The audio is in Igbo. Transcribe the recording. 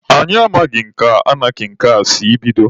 Anyị amaghị ka anarkị nke a si bido.